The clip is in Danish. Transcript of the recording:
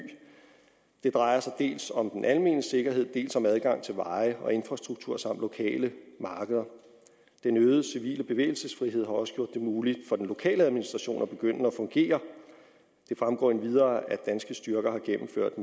det drejer sig dels om den almene sikkerhed dels om adgang til veje og infrastruktur samt lokale markeder den øgede civile bevægelsesfrihed har også gjort det muligt for den lokale administration at begynde at fungere det fremgår endvidere at danske styrker har gennemført